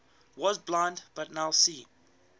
was blind but now see